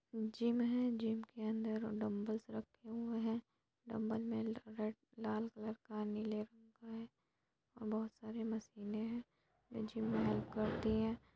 Gym है gym के अंदर डंबल्स रखे हुए है डंबल्स में रेड लाल कलर का नीले कलर का है बहुत सारी मशीनें हैं जीम में हेल्प करती है।